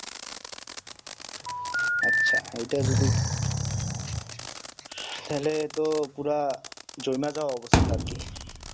আচ্ছা ঐটা যদি তাহলে তো পুরা জমে যাওয়া অবস্থা আরকি